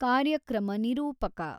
ಕಾರ್ಯಕ್ರಮ ನಿರೂಪಕ